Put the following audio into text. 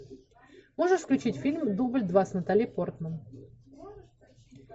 можешь включить фильм дубль два с натали портман